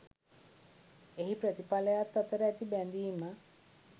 එහි ප්‍රතිඵලයත් අතර ඇති බැඳීම